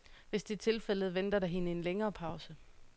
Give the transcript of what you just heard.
Hvis det er tilfældet, venter der hende en længere pause.